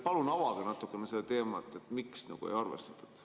Palun avage natukene seda teemat, miks ei arvestatud.